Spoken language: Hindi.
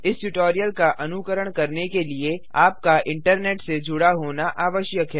इस ट्यूटोरियल का अनुकरण करने के लिए आपका इंटरनेट से जुड़ा होना आवश्यक है